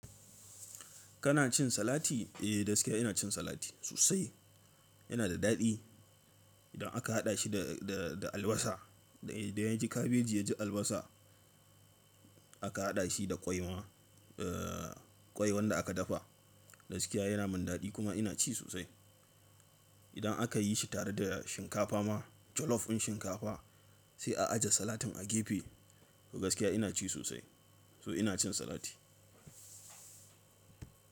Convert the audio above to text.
Kana cin salati? Eh, gaskiya ina cin salati sosai. Yana da daɗi. Idan aka haɗa shi da, da, da albasa. Idan yaji kabeji ya ji albasa. A ka haɗa shi da ƙwai ma. Eeh, ƙwai wanda aka dafa gaskiya yana min daɗi kuma ina ci sosai. Idan aka yi shi tare da shinkafa ma, jollof ɗin shinkafa sai a aje salatin a gefe. Gaskiya ina ci sosai. To ina cin salati.